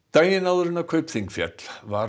daginn áður en Kaupþing féll var